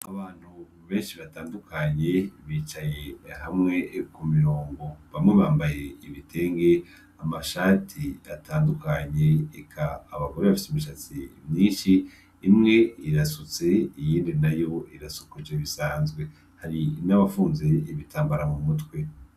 Abantu benshi batandukanye bicaye hamwe kumirongo bamwe bambaye ibitenge amashati atandukanye eka abagore bafise imishatsi myinshi imwe irasutse iyindi nayo irasokoje bisanzwe hari n' abafunze ibitambara mumutwe.